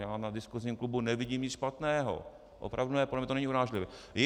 Já na diskusním klubu nevidím nic špatného, opravdu ne, podle mě to není urážlivé.